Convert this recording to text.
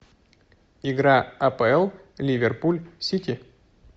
игра апл ливерпуль сити